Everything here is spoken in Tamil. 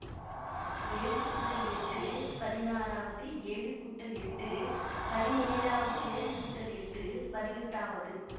ஏழு கூட்டல் எட்டு பதினாறாவது ஏழு கூட்டல் எட்டு பதினேழாவது ஏழு கூட்டல் எட்டு பதினெட்டாவது